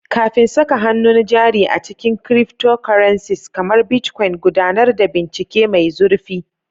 Kafin saka hannun jari a cikin cryptocurrencies kamar Bitcoin, gudanar da bincike mai zurfi.